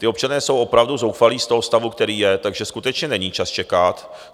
Ti občané jsou opravdu zoufalí z toho stavu, který je, takže skutečně není čas čekat.